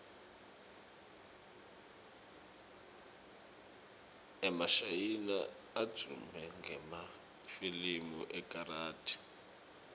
emashayina advume ngemafilimu ekarathi